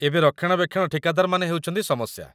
ଏବେ ରକ୍ଷଣାବେକ୍ଷଣ ଠିକାଦାରମାନେ ହେଉଛନ୍ତି ସମସ୍ୟା